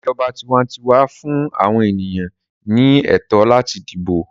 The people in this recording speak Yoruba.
ìjọba tiwantiwa fún àwọn ènìyàn ní ẹtọ láti dibo.